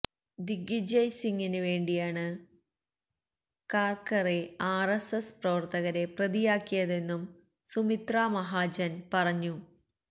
ദിഗ്വിജയ് സിംഗിന് വേണ്ടിയാണ് കര്ക്കറെ ആര്എസ്എസ് പ്രവര്ത്തകരെ പ്രതിയാക്കിയതെന്നും സുമിത്രാ മഹാജന് പറഞ്ഞു